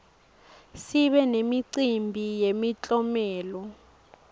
sibe nemicimbi yemiklomelo